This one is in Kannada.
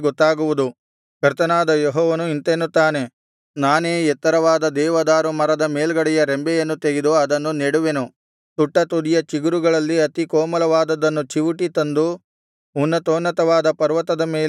ಕರ್ತನಾದ ಯೆಹೋವನು ಇಂತೆನ್ನುತ್ತಾನೆ ನಾನೇ ಎತ್ತರವಾದ ದೇವದಾರು ಮರದ ಮೇಲ್ಗಡೆಯ ರೆಂಬೆಯನ್ನು ತೆಗೆದು ಅದನ್ನು ನೆಡುವೆನು ತುಟ್ಟತುದಿಯ ಚಿಗುರುಗಳಲ್ಲಿ ಅತಿ ಕೋಮಲವಾದದ್ದನ್ನು ಚಿವುಟಿ ತಂದು ಉನ್ನತೋನ್ನತವಾದ ಪರ್ವತದ ಮೇಲೆ ನೆಡುವೆನು